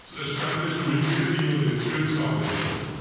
established ਹੋਈ ਕਿਹੜੇ year ਦੇ ਵਿੱਚ ਕਿਹੜੇ ਸਾਲ ਦੇ ਵਿੱਚ ਭਾਈ